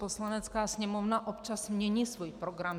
Poslanecká sněmovna občas mění svůj program.